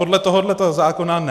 Podle tohoto zákona ne.